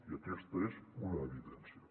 i aquesta és una evidència